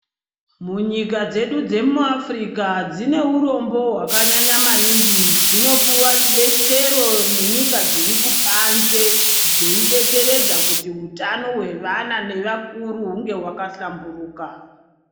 Munyika dzedu dzemuAfrica dzine urombo hwakanyanya maningi, dzinopuwa rudetsero nenyika dziri kubanze dzeidetseredza kuti hutano hwevana nevakuru hunge hwaka hlamburuka.